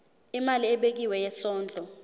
imali ebekiwe yesondlo